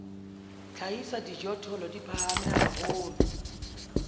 hlahisa dijothollo di phahame haholo